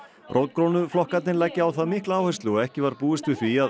rótgrónu flokkarnir leggja á það mikla áherslu og ekki var búist við því að